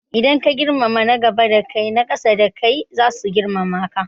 Idan ka girmama na gaba da kai, na ƙasa da kai zasu girmama ka.